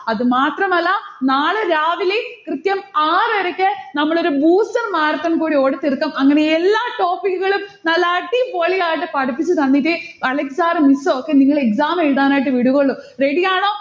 അതുമാത്രമല്ല നാളെ രാവിലെ കൃത്യം ആറരയ്ക്ക് നമ്മളൊരു booster marathon കൂടി ഓടിത്തീർക്കും. അങ്ങനെ എല്ലാ topic ഉകളും നല്ല അടിപൊളിയായിട്ട് പഠിപ്പിച്ചുതന്നിട്ടേ അലക്സ് sir miss ഒക്കെ നിങ്ങളെ exam എഴുതുവാനായിട്ട് വിടുവുള്ളു. ready യാണോ